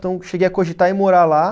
Então, cheguei a cogitar em morar lá.